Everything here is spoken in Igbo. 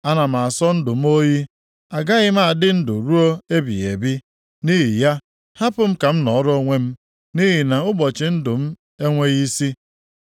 Ana m asọ ndụ m oyi; agaghị m adị ndụ ruo ebighị ebi. Nʼihi ya, hapụ m ka m nọọrọ onwe m, nʼihi na ụbọchị ndụ m enweghị isi.